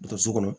Don so kɔnɔ